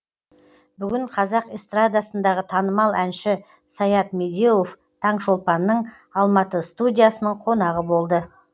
бүгін қазақ эстрадасындағы танымал әнші саят медеуов таңшолпанның алматы студиясының қонағы болды